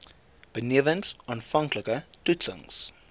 benewens aanvanklike toetsings